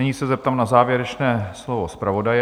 Nyní se zeptám na závěrečné slovo zpravodaje.